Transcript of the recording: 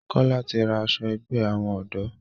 Kola tí rá aṣọ àgbè àwọn odò.